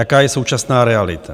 Jaká je současná realita?